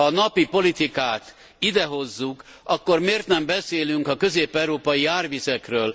Ha a napi politikát ide hozzuk, akkor miért nem beszélünk a közép európai árvizekről?